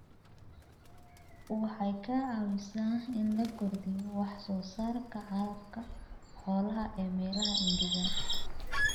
Waxay ka caawisaa in la kordhiyo wax soo saarka calafka xoolaha ee meelaha engegan.